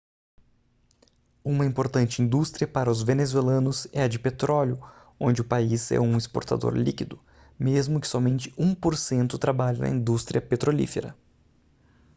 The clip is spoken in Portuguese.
uma importante indústria para os venezuelanos é a de petróleo onde o país é um exportador líquido mesmo que somente um por cento trabalhe na indústria petrolífera